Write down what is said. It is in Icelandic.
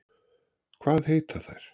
Hvað heita þær?